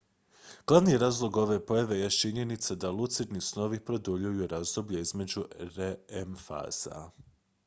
glavni razlog ove pojave jest činjenica da lucidni snovi produljuju razdoblje između rem faza